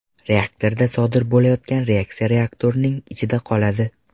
Reaktorda sodir bo‘layotgan reaksiya reaktorning ichida qoladi.